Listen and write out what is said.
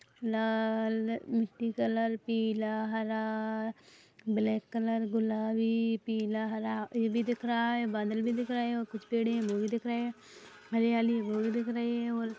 लाल मिटटी कलर पीला हरा ब्लैक कलर गुलाबी पीला हरा ए भी दिख रहा है बादल भी दिख रहा है कुछ पेड़ दिख रहे हैं हरियाली वो भी दिख रही हैं और--